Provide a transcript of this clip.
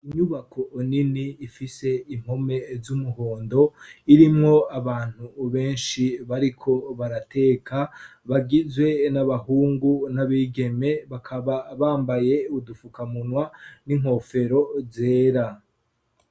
Inyubako nini ifise impome z'umuhondo irimwo abantu benshi bariko barateka bagizwe n'abahungu n'abigeme bakaba bambaye udufukamunwa n'inkofero zera.